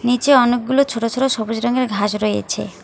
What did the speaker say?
নীচে অনেকগুলো ছোট ছোট সবুজ রঙের ঘাস রয়েছে।